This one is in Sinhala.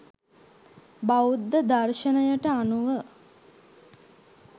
බෞද්ධ දර්ශණයට අනුව